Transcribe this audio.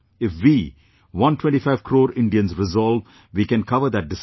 If we, 125 crore Indians, resolve, we can cover that distance